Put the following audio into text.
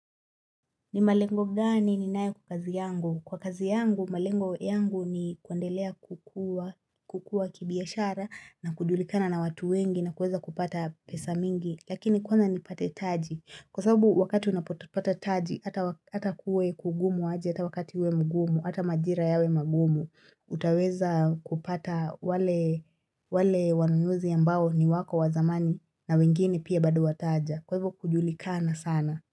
Ni malengo gani ni nae kwa kazi yangu? Kwa kazi yangu, malengo yangu ni kuendelea kukua kibiashara na kujulikana na watu wengi na kuweza kupata pesa mingi, lakini kwanza ni pate taji. Kwa sababu wakati unapotopata taji, ata kuwe kugumu aje, ata wakati uwe mgumu, ata majira yawe magumu, utaweza kupata wale wanunuzi ambao ni wako wazamani na wengine pia badu wataja. Kwa hivyo kujulikana sana.